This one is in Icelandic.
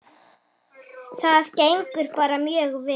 Það gengur bara mjög vel.